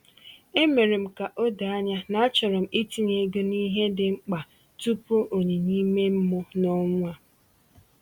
E mere m ka o doo anya na achọrọ m itinye ego n’ihe dị mkpa tupu onyinye ime mmụọ n’ọnwa a.